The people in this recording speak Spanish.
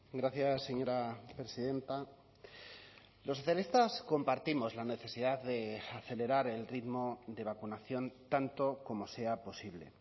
gracias señora presidenta los socialistas compartimos la necesidad de acelerar el ritmo de vacunación tanto como sea posible